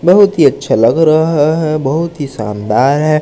बहुत ही अच्छा लग रहा है बहुत ही शानदार है।